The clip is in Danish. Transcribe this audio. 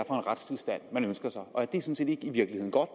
retstilstand man ønsker og er det sådan set ikke i virkeligheden godt